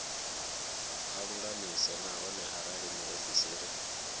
a lulamise nahone arali muofisiri